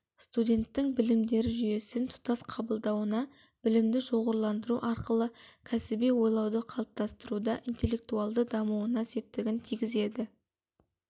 студенттің білімдер жүйесін тұтас қабылдауына білімді шоғырландыру арқылы кәсіби ойлауды қалыптастыруға интелектуалды дамуына септігін тигізеді